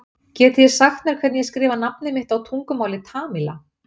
getið þið sagt mér hvernig ég skrifa nafnið mitt á tungumáli tamíla